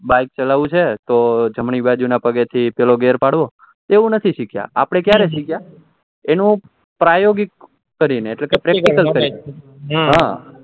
bike ચાલવું છે તો જમણાં પગે થી પેહલો ગેર પડવો એવું નથી શીખ્યા આપડે ક્યારે શીખ્યા આપડે એનું પ્રાયોગિક કરીને એટલે કે practical કરીને હા